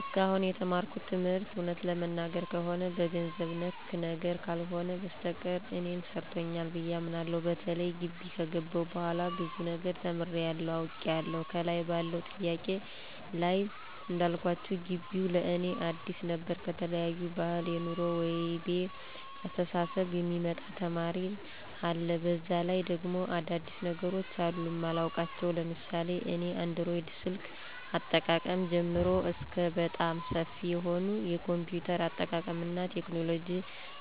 እስካሁን የተማርኩት ትምህርት እውነት ለመናገር ከሆነ በገንዘብ ነክ ነገር ካልሆነ በስተቀር እኔን ሰርቶኛል ብየ አምናለሁ። በተለይ ጊቢ ከገባሁ በኋላ ብዙ ነገር ተምሬያለሁ፤ አውቄያለሁ። ከላይ ባለው ጥያቄ ላይ እንዳልኳችሁ ጊቢው ለእኔ አዲስ ነበር ከተለያየ ባህል፣ የኑሮ ወይቤ፣ አስተሳሰብ የሚመጣ ተማሪ አለ፤ በዛ ላይ ደግሞ አዳዲስ ነገሮች አሉ ማላውቃቸው ለምሳሌ እኔ አንድሮይድ ስልክ አጠቃቀም ጀምሮ እስከ በጣም ሰፊ የሆነ የ ኮምፒውተር አጠቃቀምና ቴክኖሎጂ